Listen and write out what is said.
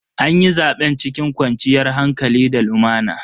Anyi zaben cikin kwanciyar hankali da lumana.